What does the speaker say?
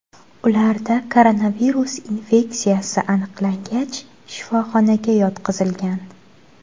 Ularda koronavirus infeksiyasi aniqlangach, shifoxonaga yotqizilgan.